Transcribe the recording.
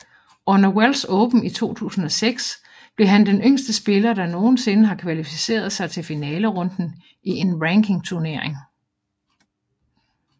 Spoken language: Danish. Under Welsh Open i 2006 blev han den yngste spiller der nogensinde har kvalificeret sig til finalerunden i en rankingturnering